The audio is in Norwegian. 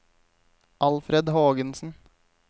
Alfred Hågensen